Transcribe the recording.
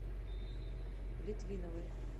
литвиновой